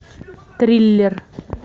триллер